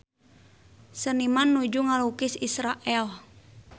Seniman nuju ngalukis Israel